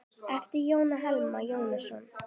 eftir Jón Hilmar Jónsson